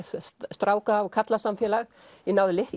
stráka og karlasamfélag ég náði